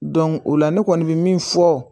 o la ne kɔni bɛ min fɔ